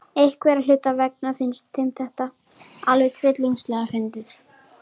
Einhverra hluta vegna finnst þeim þetta alveg tryllingslega fyndið.